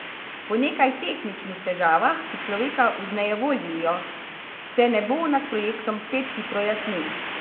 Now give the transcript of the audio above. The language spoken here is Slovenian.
Po nekaj tehničnih težavah, ki človeka vznejevoljijo, se nebo nad projektom spet hitro jasni.